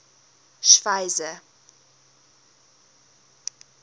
schweizer